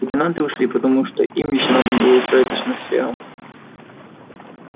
лейтенанты ушли потому что им ещё надо было устроиться с ночлегом